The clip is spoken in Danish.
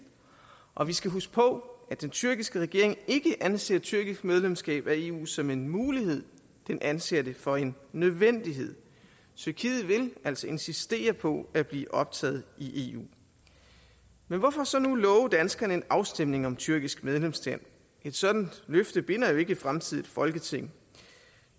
og vi skal huske på at den tyrkiske regering ikke anser tyrkisk medlemskab af eu som en mulighed men anser det for en nødvendighed tyrkiet vil altså insistere på at blive optaget i eu men hvorfor så nu love danskerne en afstemning om tyrkisk medlemskab et sådant løfte binder jo ikke et fremtidigt folketing